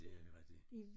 Det er nemlig rigtig